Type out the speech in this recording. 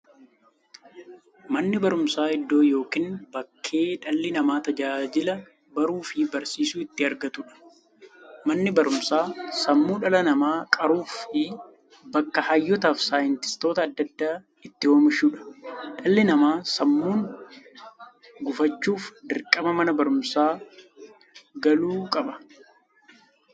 Manni baruumsaa iddoo yookiin bakkee dhalli namaa tajaajila baruufi barsiisuu itti argatuudha. Manni baruumsaa sammuu dhala namaa qaruufi bakka hayyootafi saayintistoota adda addaa itti oomishuudha. Dhalli namaa sammuun gufachuuf, dirqama Mana baruumsaa galuu qaba.